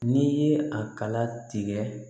N'i ye a kala tigɛ